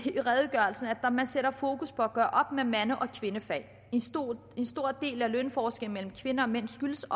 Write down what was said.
i redegørelsen sætter fokus på at gøre op med mande og kvindefag lønforskellen mellem kvinder og mænd skyldes